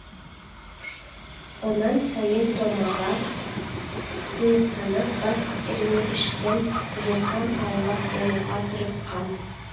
онан сайын томаға тұйықтанып бас көтермей ішкен жұрттан аулақ болуға тырысқан